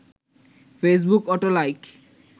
Facebook auto like